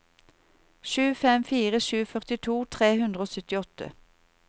sju fem fire sju førtito tre hundre og syttiåtte